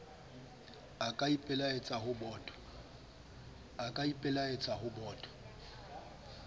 a ka ipelaetsa ho boto